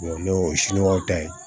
n'o ye siɲɔgɔnw ta ye